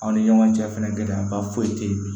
Aw ni ɲɔgɔn cɛ fɛnɛ gɛlɛyaba foyi tɛ yen